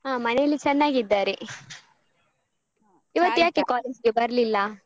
ಹ ಮನೇಲಿ ಚೆನ್ನಾಗಿದ್ದಾರೆ ಇವತ್ತ್ ಯಾಕೆ college ಗೆ ಬರ್ಲಿಲ್ಲ?